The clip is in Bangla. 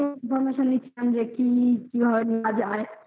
আমি একটু information নিচ্ছিলাম যে কি কি হয় নি